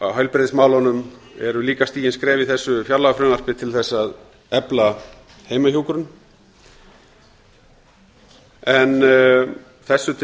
í heilbrigðismálunum eru líka stigin skref í þessu fjárlagafrumvarpi til að efla heimahjúkrun en þessu til